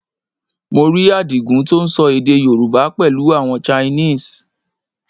Mo rí Àdìgún tó ń sọ èdè Yorùbá pẹ̀lú àwọn Chinese